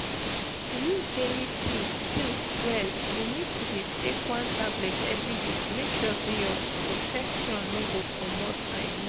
to use daily pills pills well you need to dey take one tablet every day to make sure say your protection no go comot i mean.